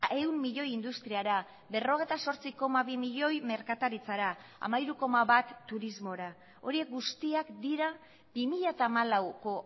ehun milioi industriara berrogeita zortzi koma bi milioi merkataritzara hamairu koma bat turismora horiek guztiak dira bi mila hamalauko